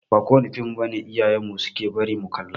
Ba kowane fim iyayen mu suke bari mu kalla ba.